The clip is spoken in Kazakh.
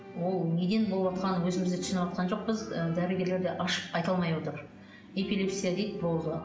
ол неден болыватқанын өзіміз де түсініватқан жоқпыз ы дәрігерлер де ашып айта алмай отыр эпилепсия дейді болды